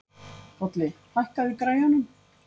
Bolli, hækkaðu í græjunum.